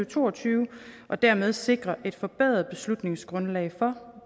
to og tyve og dermed sikre et forbedret beslutningsgrundlag for